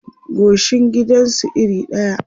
goshin gidan su iri ɗaya